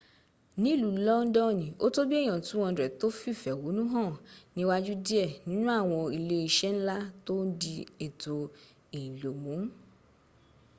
nìlú londoni o tó bìí èyàn 200 tó fìfè éhónú hàn níwájú dìé nínú àwọn ilé isé nla tó n di ètò ìlò mu